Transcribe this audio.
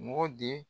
Mɔgɔ di